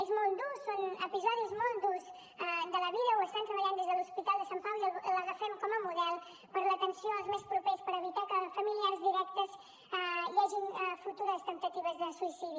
és molt dur són episodis molt durs de la vida ho estan treballant des de l’hospital de sant pau i l’agafem com a model per a l’atenció als més propers per evitar que als familiars directes hi hagin futures temptatives de suïcidi